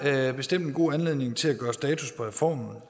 er bestemt en god anledning til at gøre status på reformen